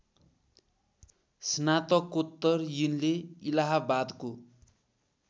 स्नातकोत्तर यिनले इलाहाबादको